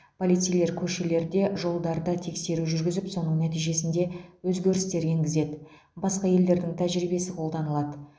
полицейлер көшелерде жолдарда тексеру жүргізіп соның нәтижесінде өзгерістер енгізеді басқа елдердің тәжірибесі қолданылады